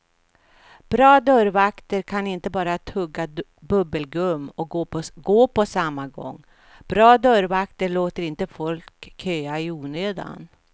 Bra dörrvakter kan inte bara tugga bubbelgum och gå på samma gång, bra dörrvakter låter inte folk köa i onödan.